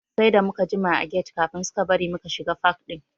Sai da muka jima a get kafin suka bari muka shiga fak ɗin.